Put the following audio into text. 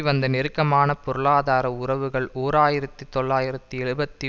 வந்த நெருக்கமான பொருளாதார உறவுகள் ஓர் ஆயிரத்தி தொள்ளாயிரத்து எழுபத்தி